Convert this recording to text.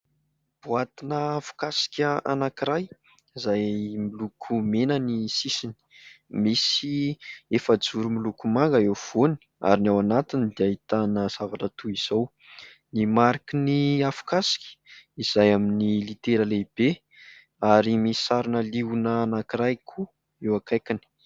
Boatina afokasoka anankiray izay miloko mena ny sisiny. Misy efajoro miloko manga eo afovoany ary ny ao anatiny dia ahitana zavatra toy izao : ny mariky ny afokasoka izay amin'ny litera lehibe ary misy sarina liona anankiray koa eo akaikiny.